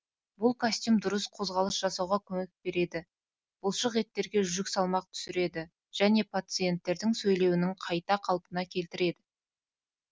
бұл костюм дұрыс қозғалыс жасауға көмек береді бұлшықеттерге жүк салмақ түсіреді және пациенттердің сөйлеуінің қайта қалпына келтіреді